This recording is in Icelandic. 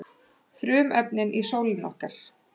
frumefnin í sólinni okkar